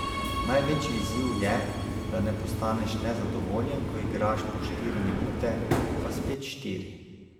Največji izziv je, da ne postaneš nezadovoljen, ko igraš po štiri minute, pa spet štiri ...